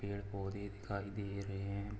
पेड़-पौधे दिखाई दे रहे हैं।